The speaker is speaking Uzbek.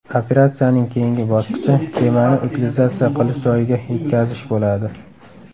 Operatsiyaning keyingi bosqichi kemani utilizatsiya qilish joyiga yetkazish bo‘ladi.